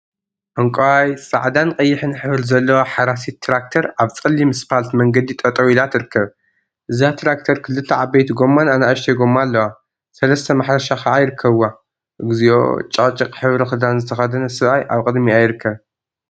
ዕንቋይ፣ ፃዕዳን ቀይሕን ሕብሪ ዘለዋ ሓራሲት ትራክተር አብ ፀሊም እስፓልት መንገዲ ጠጠወ ኢላ ትርከብ፡፡ እዛ ትራክተር ክልተ ዓበይቲ ጎማን አናእሽተይ ጎማ አለዋ፡፡ ሰለስተ ማሕረሻ ከዓ ይርከቡዋ፡፡ እግዚኦ! ጨቅጨቅ ሕብሪ ክዳን ዝተከደነ ሰብአይ አብ ቅድሚአ ይርከብ፡፡